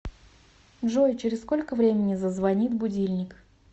джой через сколько времени зазвонит будильник